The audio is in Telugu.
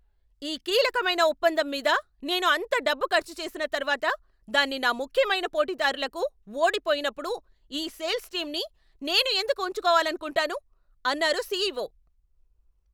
ఈ కీలకమైన ఒప్పందం మీద నేను అంత డబ్బు ఖర్చు చేసిన తర్వాత దాన్ని నా ముఖ్యమైన పోటీదారులకు ఓడిపోయినప్పుడు ఈ సేల్స్ టీమ్ని నేను ఎందుకు ఉంచుకోవాలనుకుంటాను, అన్నారు సీఈఓ.